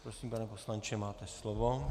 Prosím, pane poslanče, máte slovo.